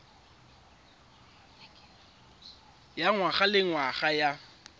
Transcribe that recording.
ya ngwaga le ngwaga ya